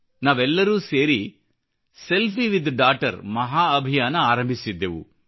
ನಾವೆಲ್ಲರೂ ಸೇರಿ selfie with daughter ಮಹಾ ಅಭಿಯಾನ ಆರಂಭಿಸಿದ್ದೆವು